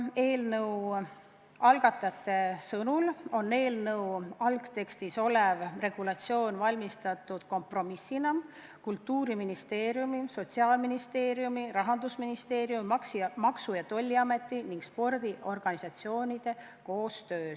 Eelnõu algatajate sõnul on eelnõu algtekstis olev regulatsioon valmistatud kompromissina ette Kultuuriministeeriumi, Sotsiaalministeeriumi, Rahandusministeeriumi, Maksu- ja Tolliameti ning spordiorganisatsioonide koostöös.